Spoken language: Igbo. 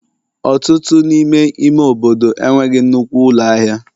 Ọtụtụ n'ime ime obodo enweghị nnukwu ụlọ ahịa